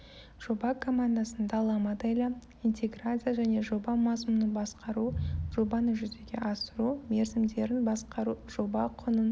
жоба командасының дала моделі интеграция және жоба мазмұнын басқару жобаны жүзеге асыру мерзімдерін басқару жоба құнын